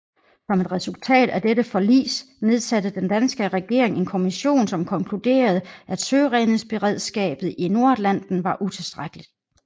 Som et resultat af dette forlis nedsatte den danske regering en kommission som konkluderede at søredningsberedskabet i Nordatlanten var utilstrækkeligt